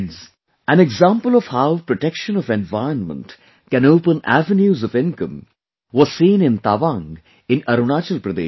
an example of how protection of environment can open avenues of income was seen in Tawang in Arunachal Pradesh too